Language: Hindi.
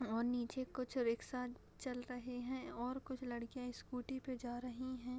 और नीचे कुछ रिक्शा चल रहे हैं और कुछ लड़कियाँ स्कूटी पे जा रही है |